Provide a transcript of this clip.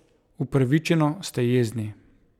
Upravičeno ste jezni!